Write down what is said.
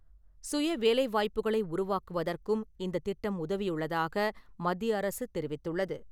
சுய வேலை வாய்ப்புக்களை உருவாக்குவதற்கும் இந்த திட்டம் உதவியுள்ளதாக மத்திய அரசு தெரிவித்துள்ளது.